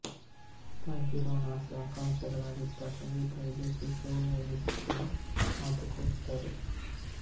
ತಾಯಿ ಪೀರವ್ವನ ಆಸೆ ಆಕಾಂಕ್ಶೆಗಳಾಗಿದ್ದ ಸಂಗೀತ ವಿದೂಶಿ ಸೋನು ಎನಿಸುವ ಮಾತು ಕೊಟ್ತರು